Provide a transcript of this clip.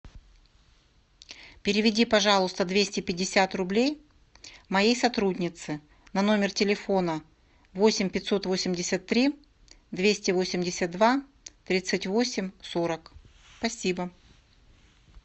переведи пожалуйста двести пятьдесят рублей моей сотруднице на номер телефона восемь пятьсот восемьдесят три двести восемьдесят два тридцать восемь сорок спасибо